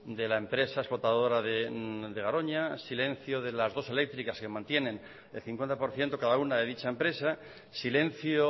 de la empresa explotadora de garoña silencio de las dos eléctricas que mantienen el cincuenta por ciento cada una de dicha empresa silencio